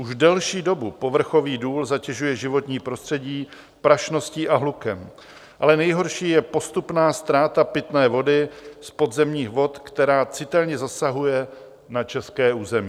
Už delší dobu povrchový důl zatěžuje životní prostředí prašností a hlukem, ale nejhorší je postupná ztráta pitné vody z podzemních vod, která citelně zasahuje na české území.